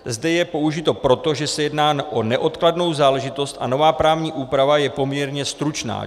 Zde je použito proto, že se jedná o neodkladnou záležitost a nová právní úprava je poměrně stručná.